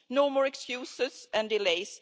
No more excuses and delays.